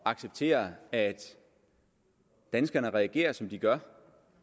at acceptere at danskerne reagerer som de gør